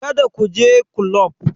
Kada ku je kulob!